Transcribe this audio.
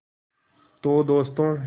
तो दोस्तों